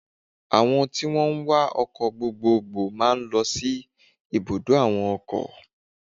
Àwo èrò tí wón ń wá ọkọ̀ gbogbogbò máa ń lo sí ibùdó àwọn ọkọ̀.